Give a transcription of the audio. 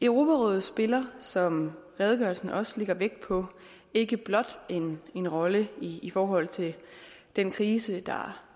europarådet spiller som redegørelsen også lægger vægt på ikke blot en rolle i i forhold til den krise der